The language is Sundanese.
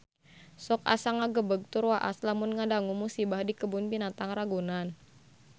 Sok asa ngagebeg tur waas lamun ngadangu musibah di Kebun Binatang Ragunan